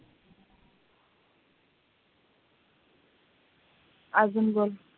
अजून बघ